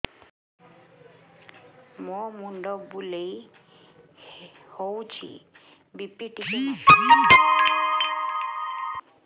ମୋ ମୁଣ୍ଡ ବୁଲେଇ ହଉଚି ବି.ପି ଟିକେ ମାପ